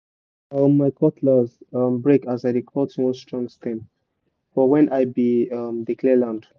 omo cutlass break as i dey cut one strong stem for when i be um dey clear land